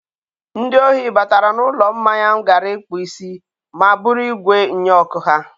Ndị ohi batara n'ụlọ mmanya m gara ịkpụ isi ma buru igwe nnyeọkụ ha.